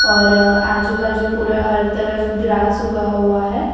और आजू बाजू पूरा हर तरफ ग्रास उगा हुआ है।